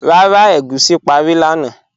Rárá, ègúsi párí lánà